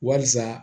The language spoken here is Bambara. Wasa